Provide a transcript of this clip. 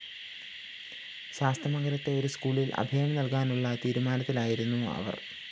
ശാസ്തമംഗലത്തെ ഒരു സ്‌കൂളില്‍ അഭയം നല്‍കാനുള്ള തീരുമാനത്തിലായിരുന്നു അവര്‍